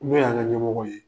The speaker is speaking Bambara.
N'o y'an ŋa ɲɛmɔgɔw ye;